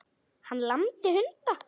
Hann lamdi hunda